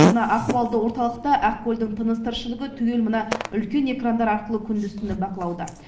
мына ахуалды орталықта ақкөлдің тыныс тіршілігі түгел мына үлкен экрандар арқылы күндіз түні бақылауда